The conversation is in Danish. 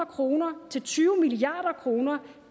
kroner til tyve milliard kroner